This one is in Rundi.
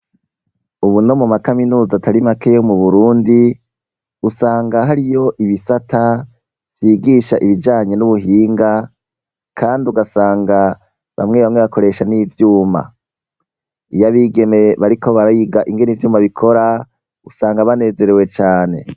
Ubu no mu ma kaminuza atari make yo mu Burundi, usanga hariyo ibisata vyigisha ibijanye n'ubuhinga, kandi ugasanga bamwe bamwe bakoresha n'ivyuma. Iyo abigeme bariko bariga ingene ivyuma bikora, usanga banezerewe cane.